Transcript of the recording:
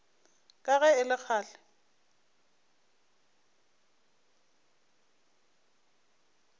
ka ge e le kgale